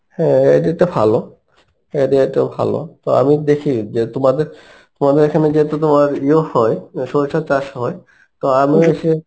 হ্যাঁ এই idea টা ভালো, এই idea টাও ভালো. তো আমি দেখি যে তোমাদের, তোমাদের এইখানে যেহেতু তোমার ইয়েও হয় সরিষা চাষ হয় তো আমিও এসে